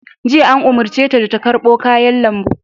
Jiya, an umarce ta da ta karɓo kayan lambu!